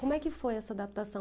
Como é que foi essa adaptação?